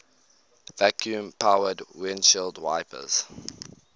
vacuum powered windshield wipers